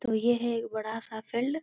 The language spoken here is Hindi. तो यह है एक बड़ा सा फील्ड |